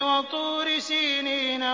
وَطُورِ سِينِينَ